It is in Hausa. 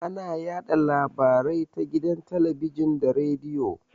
Ana yaɗa labarai ta gidan talabijin da rediyo.